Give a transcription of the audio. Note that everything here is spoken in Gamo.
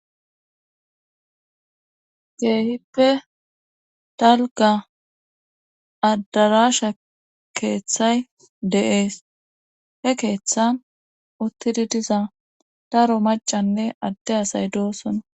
geehippe dalga addarasha keeththay de7ees he keeththa uttidi diza daro macanne adde asay doosona